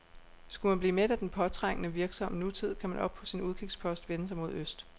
Skulle man blive mæt af den påtrængende, virksomme nutid, kan man oppe på sin udkigspost vende sig mod øst.